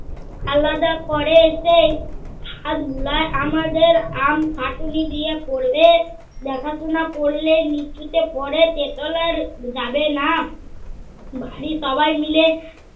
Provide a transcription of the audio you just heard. আলাদা করে সেই হাতগুলা আমাদের আমি খাটুনি দিয়ে করবে। দেখাশুনা করলে নিচুকে পরে তেতলার যাবে না। বাড়ী সবায় মিলে